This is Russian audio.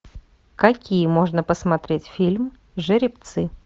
какие можно посмотреть фильм жеребцы